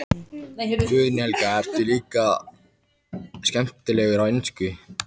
Guðný Helga: Ertu líka skemmtilegur á ensku?